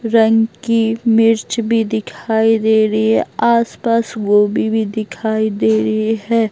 रंग की मिर्च भी दिखाई दे रही है आसपास गोभी भी दिखाई दे रही है।